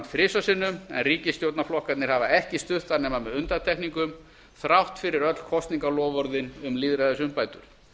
þrisvar sinnum en ríkisstjórnarflokkarnir hafa ekki stutt það nema með undantekningum þrátt fyrir öll kosningaloforðin um lýðræðisumbætur